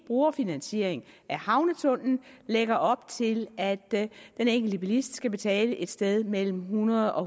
brugerfinansiering af en havnetunnel lægger op til at den enkelte bilist skal betale et sted mellem hundrede og